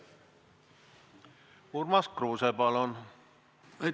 Urmas Kruuse, palun!